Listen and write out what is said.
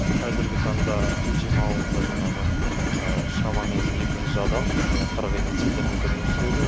қазіргі таңда пенжім ауылында жаңағы шамамен екі жүз адам қырық еденица техника жұмыс істеуде